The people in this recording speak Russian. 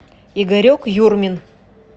игорек юрмин